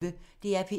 DR P1